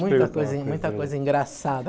Muita coisa em muita coisa engraçada.